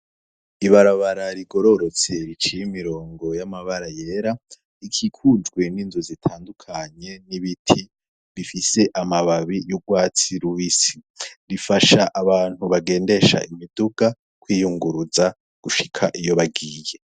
Ibarabara rigororotse riciye imirongo y'amabara yera, rikikujwe n'inzu zitandukanye n'ibiti bifise amababi y'ugwatsi rubisi, rifasha abantu bagendesha imiduga, kwiyunguruza gushika iyo bagiye.